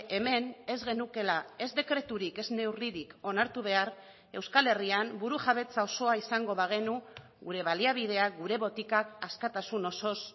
hemen ez genukeela ez dekreturik ez neurririk onartu behar euskal herrian buru jabetza osoa izango bagenu gure baliabideak gure botikak askatasun osoz